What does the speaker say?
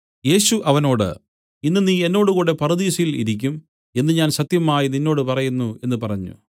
യേശു അവനോട് ഇന്ന് നീ എന്നോടുകൂടെ പറുദീസയിൽ ഇരിക്കും എന്നു ഞാൻ സത്യമായി നിന്നോട് പറയുന്നു എന്നു പറഞ്ഞു